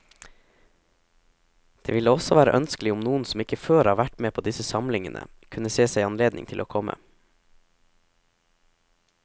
Det ville også være ønskelig om noen som ikke før har vært med på disse samlingene, kunne se seg anledning til å komme.